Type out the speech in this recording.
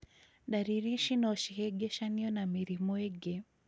Dariri ici no cihĩngĩcanio na mĩrimũ ĩngĩ